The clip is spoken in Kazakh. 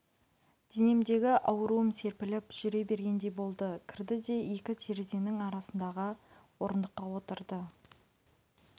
денемдегі ауруым серпіліп жүре бергендей болды кірді де екі терезенің арасындағы орындыққа отырды